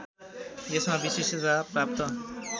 यसमा विशिष्टता प्राप्त